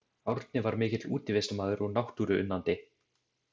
Árni var mikill útivistarmaður og náttúruunnandi.